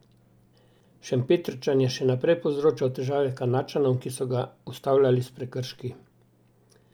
Šempetrčan je še naprej povzročal težave Kanadčanom, ki so ga ustavljali s prekrški.